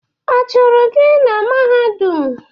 Achụrụ gị na Mahadum?